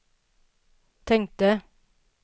tänkte